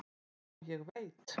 """Já, ég veit"""